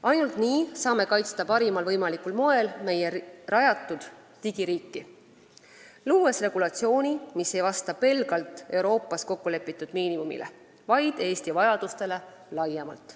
Ainult nii saame kaitsta parimal võimalikul moel meie rajatud digiriiki, kui loome regulatsiooni, mis ei vasta pelgalt Euroopas kokku lepitud miinimumile, vaid Eesti vajadustele laiemalt.